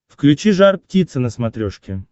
включи жар птица на смотрешке